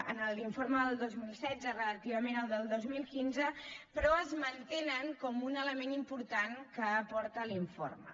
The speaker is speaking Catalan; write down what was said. en l’informe del dos mil setze relativament al del dos mil quinze però es mantenen com un element important que aporta l’informe